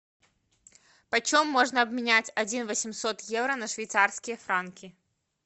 почем можно обменять один восемьсот евро на швейцарские франки